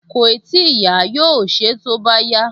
Kòì tíì yá, yóò ṣe é tó bá yá